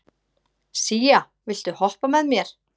Sía, viltu hoppa með mér?